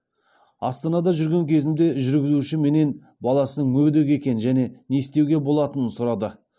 астанада жүрген кезімде жүргізуші менен баласының мүгедек екенін және не істеуге болатынын сұрады